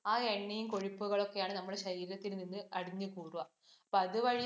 ആ എണ്ണയും കൊഴുപ്പുകളുമൊക്കെയാണ് നമ്മുടെ ശരീരത്തിൽ നിന്ന് അടിഞ്ഞു കൂടുക. അപ്പൊ അതുവഴി